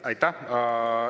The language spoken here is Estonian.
Aitäh!